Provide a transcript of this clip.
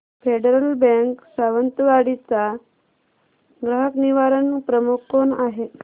federal Bank Sawantwadi चा ग्राहक निवारण प्रमुख कोण आहे